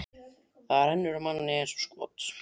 Það rennur af manni eins og skot.